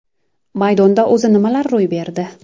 Maydonda o‘zi nimalar ro‘y berdi?